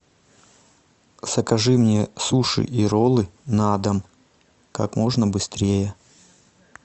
закажи мне суши и роллы на дом как можно быстрее